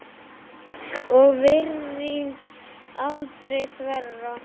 og virðing aldrei þverra.